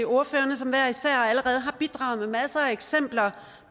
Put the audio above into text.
ordførerne som hver især allerede har bidraget med masser af eksempler